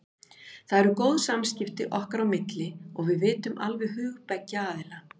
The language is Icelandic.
Það eru góð samskipti okkar á milli og við vitum alveg hug beggja aðila.